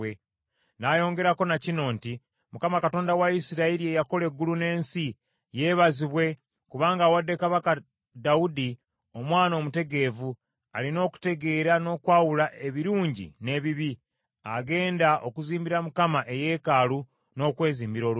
N’ayongerako na kino nti, “ Mukama Katonda wa Isirayiri eyakola eggulu n’ensi, yeebazibwe, kubanga awadde kabaka Dawudi omwana omutegeevu, alina okutegeera n’okwawula ebirungi n’ebibi, agenda okuzimbira Mukama eyeekaalu, n’okwezimbira olubiri.